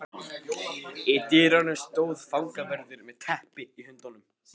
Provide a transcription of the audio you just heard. Í dyrunum stóð fangavörður með teppi í höndunum.